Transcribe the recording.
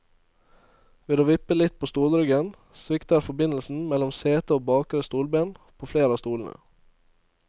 Ved å vippe litt på stolryggen, svikter forbindelsen mellom sete og bakre stolben på flere av stolene.